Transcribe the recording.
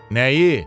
Nəyi?